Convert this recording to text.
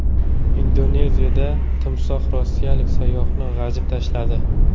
Indoneziyada timsoh rossiyalik sayyohni g‘ajib tashladi.